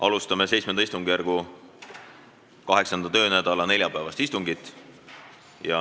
Alustame VII istungjärgu 8. töönädala neljapäevast istungit.